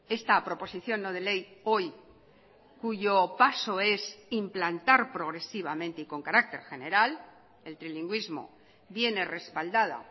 esta proposición no de ley hoy cuyo paso es implantar progresivamente y con carácter general el trilingüismo viene respaldada